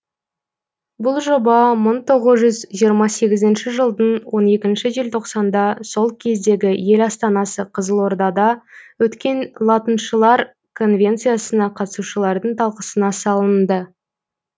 бұл жоба мың тоғыз жүз жиырма сегізінші жылдың он екінші желтоқсанда сол кездегі ел астанасы қызылордада өткен латыншылар конвенциясына қатысушылардың талқысына салынды